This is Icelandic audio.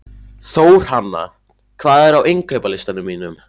Þórhanna, hvað er á innkaupalistanum mínum?